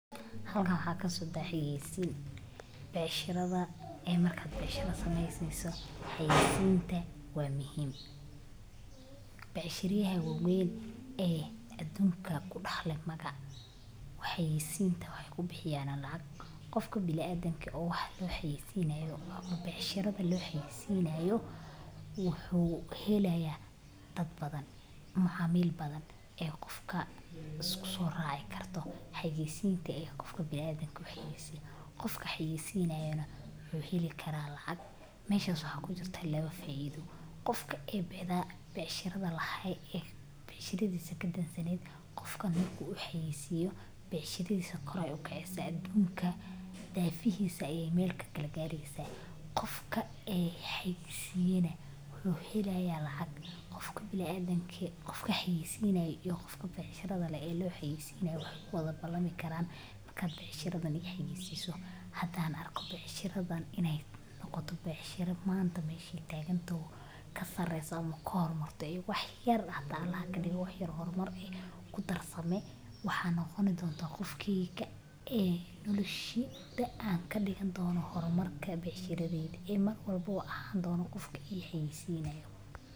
Halkan waxa kasocda xayeysin ee markad becsharo sameysaneso ee xayeysinta. Xayeysiinta beecsharada waa hab muhiim u ah ganacsatada si ay dadka ugu soo jiitaan inay iibsadaan alaabaha ama adeegyada ay bixiyaan. Xayeysiintu waxay caawisaa in beecshadu noqoto mid la ogaado, la jeclaado, lana iibsado si joogto ah. Waxaa lagu sameeyaa siyaabo badan sida: calaamado la dhigo dukaanka hortiisa, baraha bulshada, raadiyaha, telefishinka, iyo sidoo kale afka iyo dhegta dadka ahan dono qofka mar walba ii xayeysinayo.